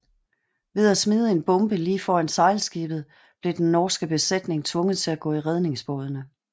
Ved at smide en bombe lige foran sejlskibet blev dens norske besætning tvunget til at gå i redningsbådene